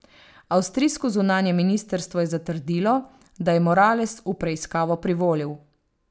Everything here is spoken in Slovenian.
Avstrijsko zunanje ministrstvo je zatrdilo, da je Morales v preiskavo privolil.